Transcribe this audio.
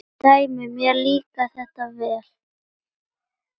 Dæmi: Mér líkar þetta vel.